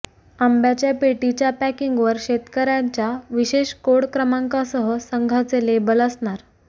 आंब्याच्या पेटीच्या पॅकिंगवर शेतकऱ्याच्या विशेष कोड क्रमांकासह संघाचे लेबल असणार